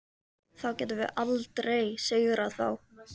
Þá getum við aldrei sigrað þá.